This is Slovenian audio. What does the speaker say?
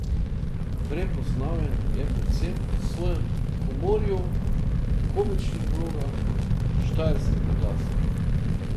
Prepoznaven je predvsem po svojem humorju, komičnih vlogah in štajerskem naglasu.